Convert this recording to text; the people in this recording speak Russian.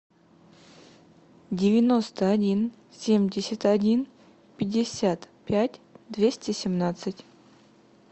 девяносто один семьдесят один пятьдесят пять двести семнадцать